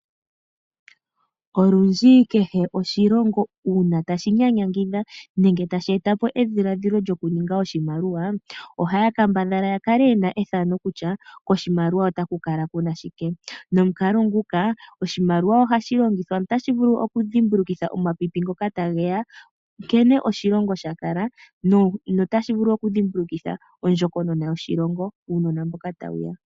Olundji kehe oshilongo uuna tashi nyanyangidha nenge tashi eta po edhiladhilo lyokuninga oshimaliwa ohaya kambadhala ya kale ye na ethano kutya koshimaliwa otaku kala ku na shike. Nomukalo nguka oshimaliwa otashi vulu okudhimbulukitha omapipi ngoka tage ya nkene oshilongo sha kala notashi vulu okudhimbulukitha ondjokonona yoshilongo uunona mboka tawu ya.